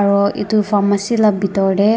aro etu pharmacy la bidor de.